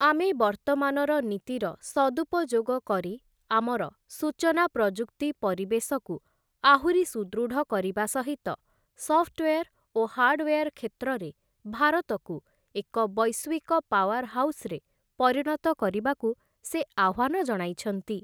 ଆମେ ବର୍ତ୍ତମାନର ନୀତିର ସଦୁପଯୋଗ କରି ଆମର ସୂଚନା ପ୍ରଯୁକ୍ତି ପରିବେଶକୁ ଆହୁରି ସୁଦୃଢ଼ କରିବା ସହିତ ସପ୍ଟୱେର୍ ଓ ହାର୍ଡ଼ଓୟାର କ୍ଷେତ୍ରରେ ଭାରତକୁ ଏକ ବୈଶ୍ୱିକ ପାୱାର ହାଉସରେ ପରିଣତ କରିବାକୁ ସେ ଆହ୍ୱାନ ଜଣାଇଛନ୍ତି ।